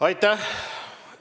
Aitäh!